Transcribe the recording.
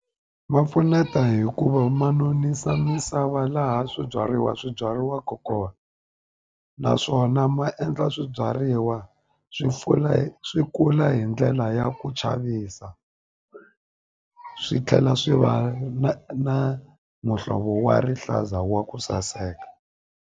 Ma pfuneta hikuva ma nonisa misava laha swibyariwa swi byariwaka kona naswona ma endla swibyariwa swi swi swi kula hi ndlela ya ku chavisa swi tlhela swi va na na muhlovo wa rihlaza wa ku saseka.